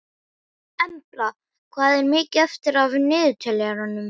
Embla, hvað er mikið eftir af niðurteljaranum?